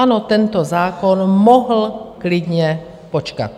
Ano, tento zákon mohl klidně počkat.